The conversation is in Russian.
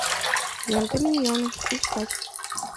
лента миньоны искать